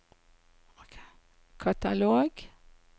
katalog